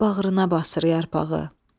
Bağrına basır yarpağı.